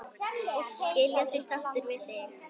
Skilja þeir sáttir við þig?